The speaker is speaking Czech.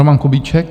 Roman Kubíček.